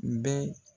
N bɛ